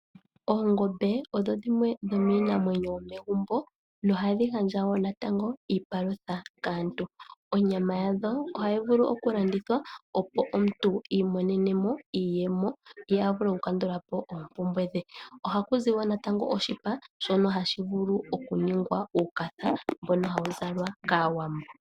Oongombe odho dhimwe dho miinamwenyo yomegumbo nohadhi gandja natango iipalutha kaantu onyama yadho ohayi vulu oku landithwa opo omuntu iimonene mo iiyemo ye avule oku kandula po oompumbwe dhe, ohaku zi wo natango oshipa shono hashi vulu oku ningwa uukatha mbono hawu zalwa kaawambo.